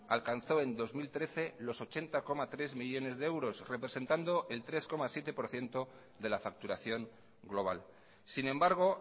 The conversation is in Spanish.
alcanzó en dos mil trece los ochenta coma tres millónes de euros representando el tres coma siete por ciento de la facturación global sin embargo